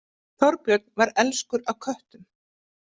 Þorbjörn var elskur að köttum.